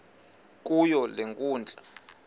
kuyo le nkundla